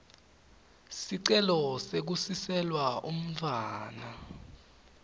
sicelo sekusiselwa umntfwana